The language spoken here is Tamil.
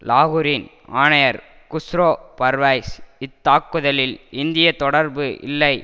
லாகூரின் ஆணையர் குஷ்ரோ பர்வைஸ் இத்தாக்குதலில் இந்திய தொடர்பு இல்லை